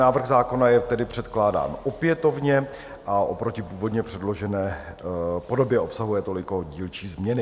Návrh zákona je tedy předkládán opětovně a oproti původní předložené podobě obsahuje toliko dílčí změny.